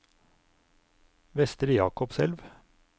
Vestre Jakobselv